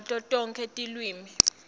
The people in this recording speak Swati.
ngato tonkhe tilwimi